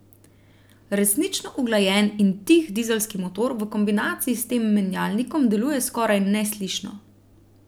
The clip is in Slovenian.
Resnično uglajen in tih dizelski motor v kombinaciji s tem menjalnikom deluje skoraj neslišno.